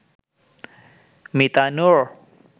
Mita Noor